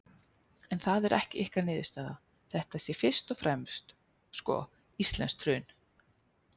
En það er ekki ykkar niðurstaða, þetta sé fyrst og fremst, sko, íslenskt hrun?